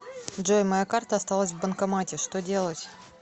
джой моя карта осталась в банкомате что делать